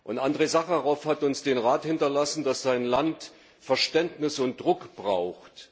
Und Andrej Sacharow hat uns den Rat hinterlassen, dass sein Land Verständnis und Druck braucht.